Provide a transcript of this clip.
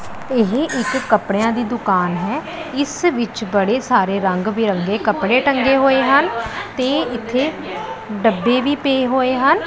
ਇਹ ਇੱਕ ਕੱਪੜਿਆਂ ਦੀ ਦੁਕਾਨ ਹੈ ਇਸ ਵਿੱਚ ਬੜੇ ਸਾਰੇ ਰੰਗ ਬਿਰੰਗੇ ਕੱਪੜੇ ਟੰਗੇ ਹੋਏ ਹਨ ਤੇ ਇੱਥੇ ਡੱਬੇ ਵੀ ਪੇ ਹੋਏ ਹਨ।